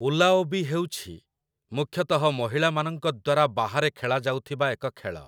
ଊଲାଓବି ହେଉଛି ମୁଖ୍ୟତଃ ମହିଳାମାନଙ୍କ ଦ୍ୱାରା ବାହାରେ ଖେଳାଯାଉଥିବା ଏକ ଖେଳ ।